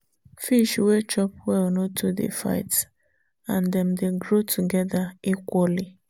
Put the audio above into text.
fish wey chop well no too dey fight and dem dey grow together equally.